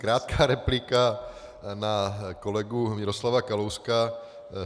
Krátká replika na kolegu Miroslava Kalouska.